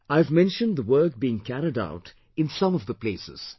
I have mentioned the work being carried out in some of the places